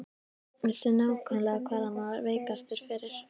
Vissi nákvæmlega hvar hann var veikastur fyrir.